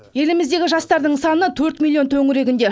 еліміздегі жастардың саны төрт миллион төңірегінде